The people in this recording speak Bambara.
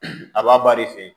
A b'a bari fɛ